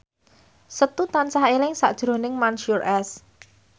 Setu tansah eling sakjroning Mansyur S